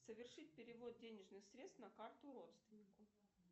совершить перевод денежных средств на карту родственнику